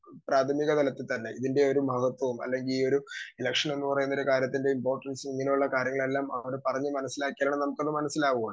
Speaker 2 പ്രാഥമിക തലത്തിൽ തന്നെ ഇതിൻറെ ഒരു മഹത്വം അല്ലെങ്കി ഈയൊരു ഇലക്ഷൻ എന്നുപറയുന്ന കാര്യത്തിന്റെ ഇംപോർട്ടൻസ് ഇങ്ങനെയുള്ള കാര്യങ്ങളെല്ലാം ഇവിടെ പറഞ്ഞ് മനസ്സിലാക്കിയാലെ നമുക്കതു മനസ്സിലാവുക.